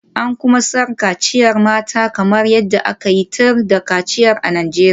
An kuma san kaciyar mata kamar yadda aka yi tir da kaciya a Najeriya.